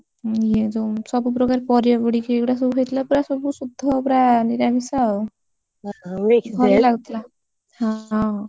ଆଉ ଆମର କଣ ଇଏ ଯୋଉ ସବୁ ପ୍ରକାର ପରିବା ପଡିକି ଏଇଗୁଡ଼ା ସବୁ ହେଇଥିଲା ପୁରା ସବୁ ଶୁଦ୍ଧ ପୁରା ନିରାମିଷ ଆଉ ଭଲଗୁଥିଲା ହଁ!